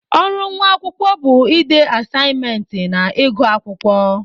Ọrụ nwa akwụkwọ bụ ịde asaimentị na ịgụ akwụkwọ.